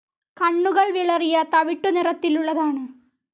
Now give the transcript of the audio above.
കണ്ണുകൾ വിളറിയ തവിട്ടു നിറത്തിലുള്ളതാണ്.